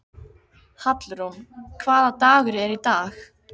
Hallrún, hvaða dagur er í dag?